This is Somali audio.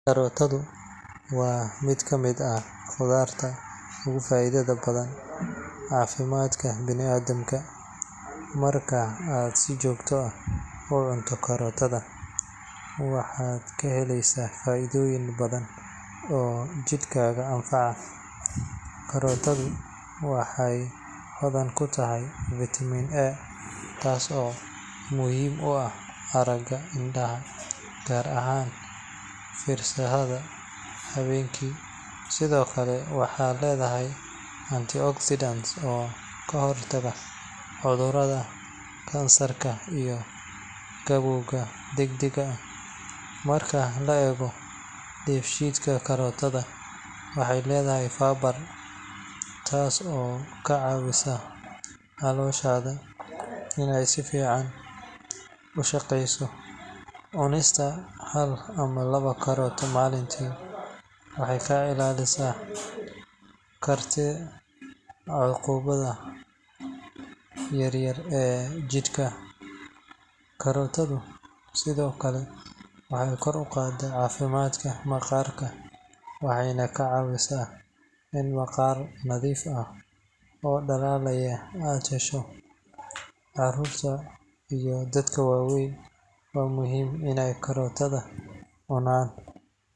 Karootadu waa mid ka mid ah khudaarta ugu faa’iidada badan caafimaadka bini’aadamka. Marka aad si joogto ah u cunto karootada, waxaad ka helaysaa faa’iidooyin badan oo jidhkaaga anfaca. Karootadu waxay hodan ku tahay vitamin A taas oo muhiim u ah aragga indhaha, gaar ahaan fiirsashada habeenkii. Sidoo kale waxay leedahay antioxidants oo ka hortaga cudurrada kansarka iyo gabowga degdega ah. Marka la eego dheefshiidka, karootadu waxay leedahay fiber taas oo kaa caawinaysa calooshaada inay si fiican u shaqeyso. Cunista hal ama laba karootoo maalintii waxay kaa ilaalin kartaa caabuqyada yaryar ee jidhka. Karootadu sidoo kale waxay kor u qaadaa caafimaadka maqaarka waxayna kaa caawisaa in maqaar nadiif ah oo dhalaalaya aad hesho. Carruurta iyo dadka waaweynba waa muhiim inay karootada cunaan.